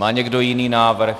Má někdo jiný návrh?